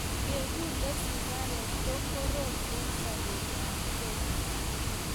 Kegule sigaret ko korom eng sobet ab kei